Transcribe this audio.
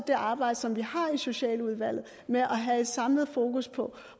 det arbejde som vi har i socialudvalget med at have et samlet fokus på